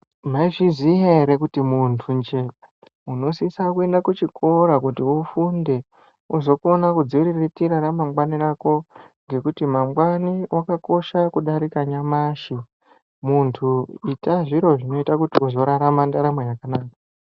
Mai zviziya ere kuti muntu nje uno sisa kuenda ku chikora kuti ufunde kuzokona kuzvi riritira ra mangwani rako ngekuti mangwani akasha kudarika nyamashi muntu ita zviro zve kuti uzo rarama ndaramo yakanaka